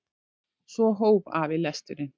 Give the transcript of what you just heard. Svo hóf afi lesturinn.